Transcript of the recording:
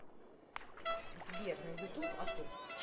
сбер на ютуб атл